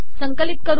संकिलत कर